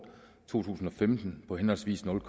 to tusind og femten på henholdsvis nul